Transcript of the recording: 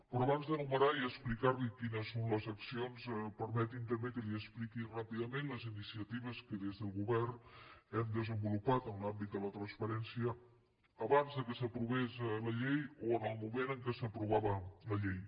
però abans d’enumerar i explicar li quines són les accions permeti’m també que li expliqui ràpidament les iniciatives que des del govern hem desenvolupat en l’àmbit de la transparència abans que s’aprovés la llei o en el moment en què s’aprovava la llei